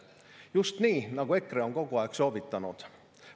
Just nii, nagu EKRE on kogu aeg soovitanud.